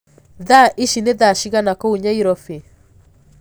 thaa ĩcĩ nĩ thaa cĩĩgana kũũ nyairobi